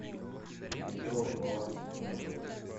петров баланс сто рублей